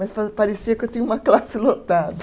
Mas pa parecia que eu tinha uma classe lotada.